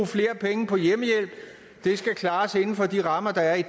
flere penge på hjemmehjælp det skal klares inden for de rammer der er i